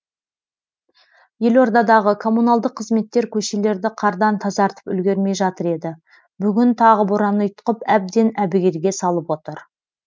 елордадағы коммуналдық қызметтер көшелерді қардан тазартып үлгермей жатыр еді бүгін тағы боран ұйтқып әбден әбігерге салып отыр